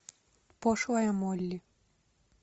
пошлая молли